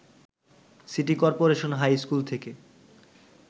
city corporation high school থেকে